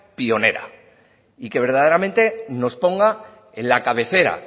pionera y que verdaderamente nos ponga en la cabecera